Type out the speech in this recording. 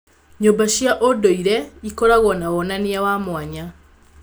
Nyũmba cia ũndũire ikoragwo na wonania wa mwanya.